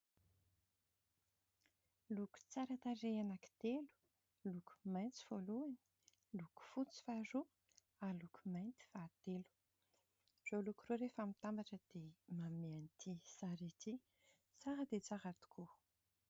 Loko tsara tarehy anankitelo : loko maitso voalohany , loko fotsy faharoa, loko mainty fahatelo. Ireo loko ireo rehefa mitambatra dia manome an'itỳ sary ity, tsara dia tsara tokoa.